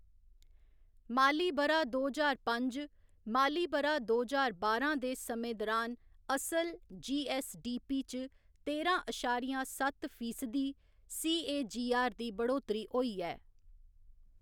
माली ब'रा दो ज्हार पंज माली ब'रा दो ज्हार बारां दे समें दुरान असल जी.ऐस्स.डी.पी. च तेरां अशारिया सत्त फीसदी सी.ए.जी.आर. दी बढौतरी होई ऐ।